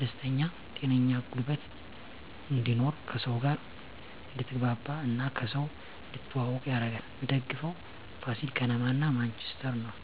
ደስተኛ ጤነኛ ጉልበት እንድኖር ከሰው ጋር አድትግባባ እና ከሰው እንድትተዋወቅ ያረጋል ምደግፈው ፋሲል ከነማ እና ማንችስተር ነው